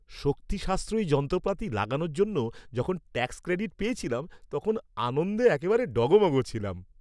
শক্তি সাশ্রয়ী যন্ত্রপাতি লাগানোর জন্য যখন ট্যাক্স ক্রেডিট পেয়েছিলাম তখন আনন্দে একেবারে ডগমগ ছিলাম।